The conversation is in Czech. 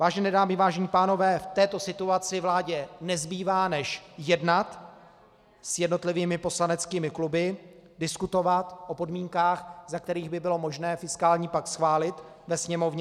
Vážené dámy, vážení pánové, v této situaci vládě nezbývá, než jednat s jednotlivými poslaneckými kluby, diskutovat o podmínkách, za kterých by bylo možné fiskální pakt schválit ve Sněmovně.